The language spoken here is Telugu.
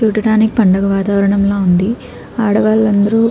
చూడ్డానికి పండగ వాతావరణంలా ఉంది. ఆడవాలందరు --